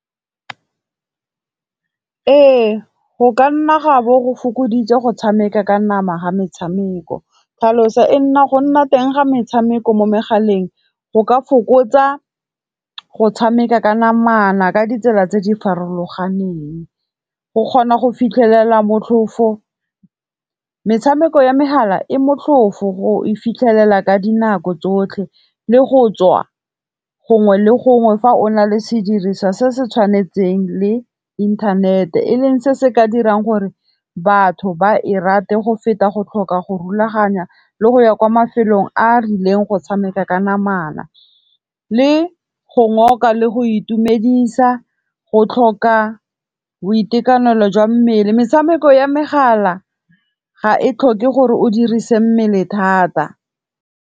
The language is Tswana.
Ee go ka nna ga bo go fokoditse go tshameka ka nama ga metshameko, tlhaloso e go nna teng ga metshameko mo megaleng, go ka fokotsa go tshameka ka namana ka ditsela tse di farologaneng. Go kgona go fitlhelela motlhofo, metshameko ya megala e motlhofo go e fitlhelela ka dinako tsotlhe le go tswa gongwe le gongwe fa o na le sediriswa se se tshwanetseng le inthanete e leng se se ka dirang gore batho ba e rate go feta go tlhoka go rulaganya le go ya kwa mafelong a a rileng go tshameka ka namana le go ngoka le go itumedisa go tlhoka boitekanelo jwa mmele. Metshameko ya megala ga e tlhoke gore o dirise mmele thata.